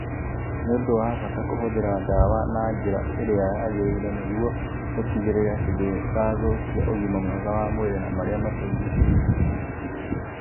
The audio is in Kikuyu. Nĩ ũndũ wa bata kũhũthĩra ndawa na njĩra ĩrĩa yagĩrĩire nĩguo ũtigĩrĩre atĩ ndĩrathũkia ũgima mwega wa mwĩrĩ na marĩa matũrigicĩirie.